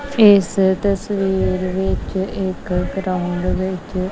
ਇਸ ਤਸਵੀਰ ਵਿੱਚ ਇੱਕ ਗਰਾਉਂਡ ਵਿੱਚ।